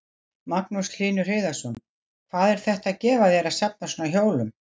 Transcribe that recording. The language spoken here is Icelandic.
Magnús Hlynur Hreiðarsson: Hvað er þetta að gefa þér að safna svona hjólum?